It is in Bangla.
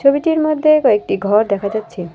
ছবিটির মদ্যে কয়েকটা ঘর দেখা যাচ্চে।